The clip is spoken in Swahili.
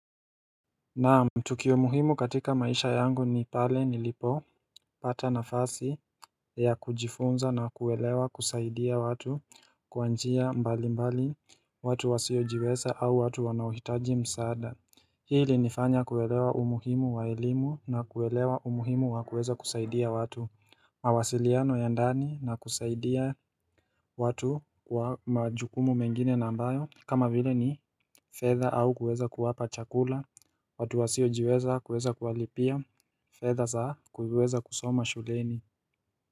Naam, tukio umuhimu katika maisha yangu ni pale nilipopata nafasi ya kujifunza na kuelewa kusaidia watu kwa njia mbali mbali watu wasiojiweza au watu wanahitaji msaada Hii ilinifanya kuelewa umuhimu wa elimu na kuelewa umuhimu wa kuweza kusaidia watu mawasiliano ya ndani na kusaidia watu kwa majukumu mengine nambayo kama vile ni fedha au kuweza kuwapa chakula watu wasiojiweza kuweza kuwalipia fedha za kuweza kusoma shuleni.